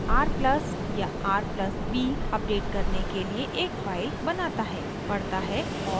r+ या r+b = update करने के लिए एक फाइल बनाता है पढ़ता है और लिखता है